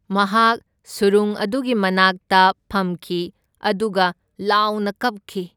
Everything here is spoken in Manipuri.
ꯃꯍꯥꯛ ꯁꯨꯔꯨꯡ ꯑꯗꯨꯒꯤ ꯃꯅꯥꯛꯇ ꯐꯝꯈꯤ ꯑꯗꯨꯒ ꯂꯥꯎꯅ ꯀꯞꯈꯤ꯫